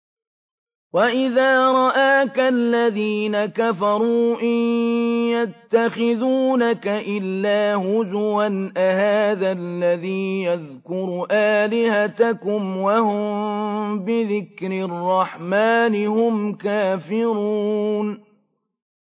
وَإِذَا رَآكَ الَّذِينَ كَفَرُوا إِن يَتَّخِذُونَكَ إِلَّا هُزُوًا أَهَٰذَا الَّذِي يَذْكُرُ آلِهَتَكُمْ وَهُم بِذِكْرِ الرَّحْمَٰنِ هُمْ كَافِرُونَ